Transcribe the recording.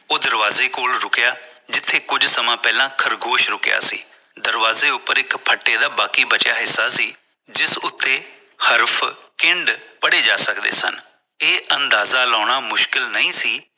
ਉਹ ਦਰਵਾਜ਼ੇ ਕੋਲ ਰੁਕਿਆ ਜਿੱਥੇ ਕੁੱਜ ਸਮਾਂ ਪਹਿਲੇ ਖ਼ਰਗੋਸ਼ ਰੁਕਿਆ ਸੀ ਦਰਵਾਜ਼ੇ ਉੱਪਰ ਇਕ ਫੱਟੇ ਦਾ ਬਾਕੀ ਬੱਚਿਆਂ ਹਿੱਸਾ ਸੀ ਜਿਸ ਉੱਤੇ ਹਰਫ਼ ਚਿੰਦ ਪੜੇ ਜਾ ਸਕਦੇ ਸਨ ਇਹ ਅੰਦਾਜ਼ਾ ਲਗਾਉਣਾ ਮੁਸ਼ਕਿਲ ਨਹੀਂ ਸੀ